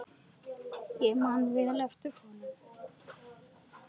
Ég man vel eftir honum.